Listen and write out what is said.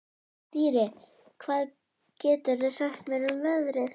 Dýri, hvað geturðu sagt mér um veðrið?